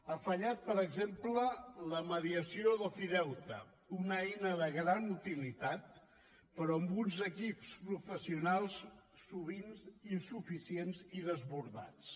ha fallat per exemple la mediació d’ofideute una eina de gran utilitat però amb uns equips professionals sovint insuficients i desbordats